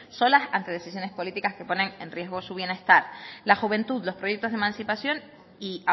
solas ante decisiones políticas que ponen en riesgo su bienestar la juventud los proyectos de emancipación y